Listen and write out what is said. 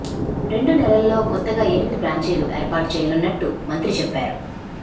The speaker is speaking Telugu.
రెండు నెలలల్లో కొత్తగా ఎనిమిది బ్రాంచీలు ఏర్పాటు చేయనున్నట్టు మంత్రి చెప్పారు